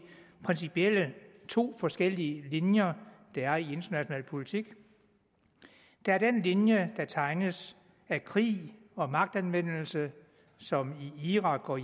principielt to forskellige linjer der er i international politik der er den linje der tegnes af krig og magtanvendelse som i irak og